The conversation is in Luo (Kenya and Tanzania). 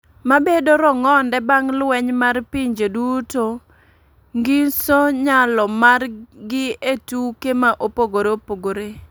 ma bedo rongonde bang lweny mar pinje duto ngiso nyalo mar gi e tuke ma opogore opogore.